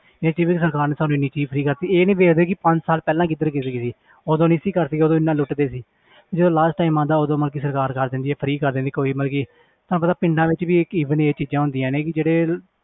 ਸਰਕਾਰ ਨੇ ਸਾਨੂੰ ਇੰਨੀ ਚੀਜ਼ ਫਰੀ ਕਰ ਦਿੱਤੀ ਇਹ ਨੀ ਵੇਖਦੇ ਕਿ ਪੰਜ ਸਾਲ ਪਹਿਲਾਂ ਕਿੱਧਰ ਗਏ ਸੀ ਉਦੋਂ ਨੀ ਸੀ ਕਰਦੀ ਉਦੋਂ ਇੰਨਾ ਲੁੱਟਦੇ ਸੀ ਜਦੋਂ last time ਆਉਂਦਾ ਉਦੋਂ ਮਤਲਬ ਸਰਕਾਰ ਕਰ ਦਿੰਦੀ ਆ free ਕਰ ਦਿੰਦੀ ਆ ਕੋਈ ਮਤਲਬ ਕਿ ਤੁਹਾਨੂੰ ਪਤਾ ਪਿੰਡਾਂ ਵਿੱਚ ਵੀ ਇੱਕ even ਇਹ ਚੀਜ਼ਾਂ ਹੁੰਦੀਆਂ ਨੇ ਕਿ ਜਿਹੜੇ